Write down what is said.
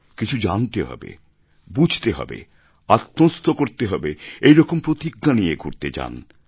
কিছু জানতে হবে বুঝতে হবে আত্মস্থ করতে হবে এরকম প্রতিজ্ঞা নিয়ে ঘুরতে যান